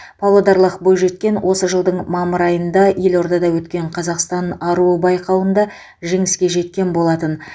павлодарлық бойжеткен осы жылдың мамыр айында елордада өткен қазақстан аруы байқауында жеңіске жеткен болатын